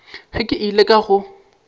ge ke ile ka go